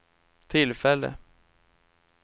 tillfälle